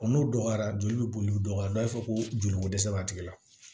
n'o dɔgɔyara joli bɛ boli u dɔgɔyara dɔw ko joli ko dɛsɛ b'a tigi la